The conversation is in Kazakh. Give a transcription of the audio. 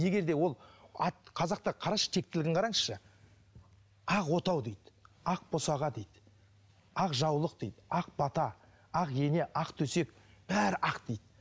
егер де ол қазақта қарашы тектілігін қараңызшы ақ отау дейді ақ босаға дейді ақ жаулық дейді ақ бата ақ ене ақ төсек бәрі ақ дейді